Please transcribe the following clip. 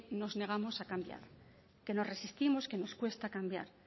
nos negamos a cambiar que nos resistimos que nos cuesta cambiar